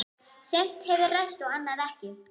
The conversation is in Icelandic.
Sumt hefur ræst og annað ekki.